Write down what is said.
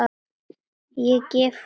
Ég gef honum